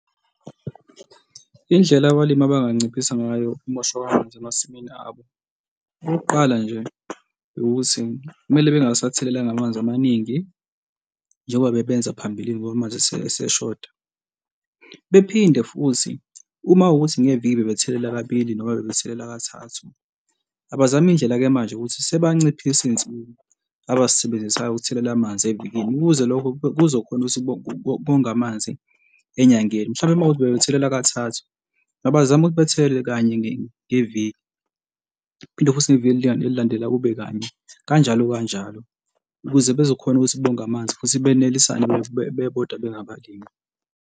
Indlela abalimi abanganciphisa ngayo ukumosheka kwamanzi emasimini abo. Okokuqala nje, ukuthi kumele mebengasathelelanga amanzi amaningi njengoba bebenza phambilini ngoba amanzi eseshoda. Bephinde futhi uma kuwukuthi ngeviki bebethelela kabili noma bebethelela kathathu abazame indlela-ke manje ukuthi sebanciphise iy'nsimu abasisebenzisayo ukuthelela amanzi evikini ukuze lokho kuzokhona ukuthi konge amanzi enyangeni. Mhlawumbe uma kuwukuthi bebethelela kathathu abazama ukubethelele kanye ngeviki. Phinde futhi neviki elilandelayo kube kanye kanjalo kanjalo, ukuze bazokhona ukuthi bonge amanzi futhi benelisane bebodwa bengabalimi.